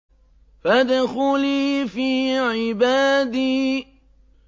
فَادْخُلِي فِي عِبَادِي